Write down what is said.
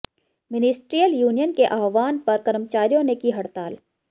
ministerial union के आह्वान पर कर्मचारियों ने की हड़ताल